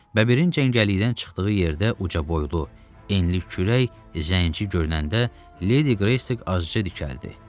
Bəbirin cəngəllikdən çıxdığı yerdə ucaboylu, enli kürək zənci görünəndə Ledi Qreysi azca dikəldi.